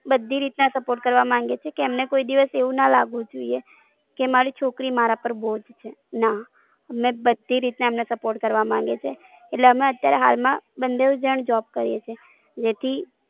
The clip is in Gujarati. બધી રીત ના Support કરવા માંગીએ છીએ કે એમને કોઈ દિવસ એવું ના લાગવું જોઈએ કે મારી છોકરી મારા પાર બોજ છે ના અમે બધી રીત ના Support કરવાં માંગે છે એટલે અમે અત્યારે હાલમાં બંનેવ જાણ Job કરીએ છીએ જેથી